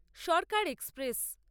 Sarkar express